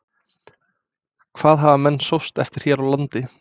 Hvað hafa menn sóst eftir hér á landi?